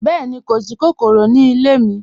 Bẹẹ̀ni, kò sí kòkòrò ní ilẹ̀ mi.